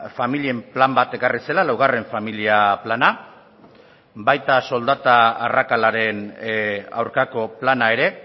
familien plan bat ekarri zela laugarren familia plana baita soldata arrakalaren aurkako plana ere